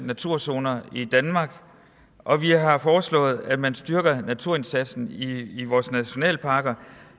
naturzoner i danmark og vi har foreslået at man styrker naturindsatsen i vores nationalparker